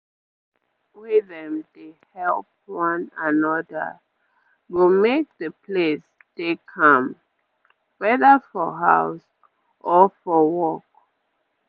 place wey dem dey help one anoda go make the place dey calm weda for house or for work